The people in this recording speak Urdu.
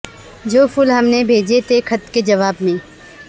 جو پھول ہم نے بھیجے تھے خط کے جواب میں